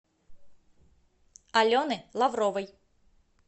алены лавровой